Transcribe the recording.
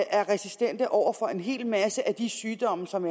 er resistente over for en hel masse af de sygdomme som